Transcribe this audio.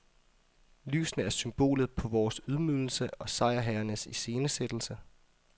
Lysene er symbolet på vores ydmygelse og sejrherrenes iscenesættelse.